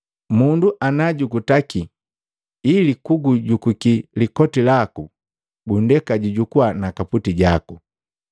Mundu ana jukutaki ili kugujukuki likoti laku, gundeka jujukua na kaputi jaku.